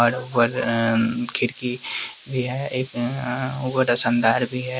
खिड़की भी है एक एगो रोशनदान भी है।